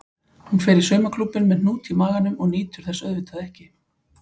Hún fer í saumaklúbbinn með hnút í maganum og nýtur þess auðvitað ekki.